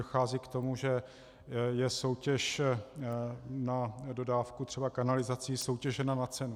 Dochází k tomu, že je soutěž na dodávku třeba kanalizací soutěžena na cenu.